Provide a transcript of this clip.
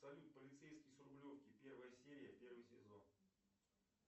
салют полицейский с рублевки первая серия первый сезон